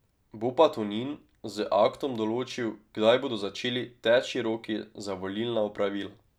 Bo pa Tonin z aktom določil, kdaj bodo začeli teči roki za volilna opravila.